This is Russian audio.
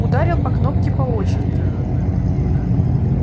ударил по кнопке по очереди